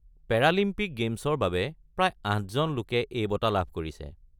Paralympic গে'মছৰ বাবে প্ৰায় আঠজন লোকে এই বঁটা লাভ কৰিছে।